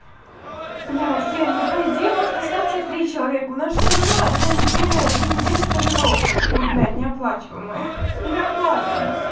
блять лена ну по идее может остаться и три человека у нас же все равно одна неделя две недели стажировка как бы блять неоплачиваемые или оплачиваемая